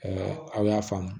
aw y'a faamu